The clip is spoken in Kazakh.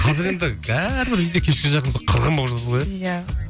қазір енді әрбір үйде кешке жақын сол қырғын болып жатады ғой иә иә